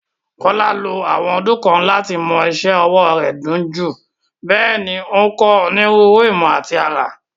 Kolade ló àwọn ọdún kan láti mọ́ iṣẹ́ ọwọ́ rẹ̀ dunjú, bẹ́ẹ̀ ni ó ń kọ́ onírúurú ìmọ̀ àti àrà.